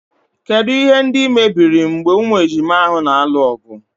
Kedụ ihe ndị mebiri mgbe ụmụ ejima ahụ na-alụ ọgụ.